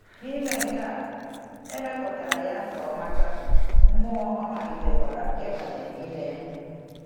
N’ime nke a, e mepụtara ya ka ọ mata mmụọ, ọ malitekwara ịbanye n’ime ya.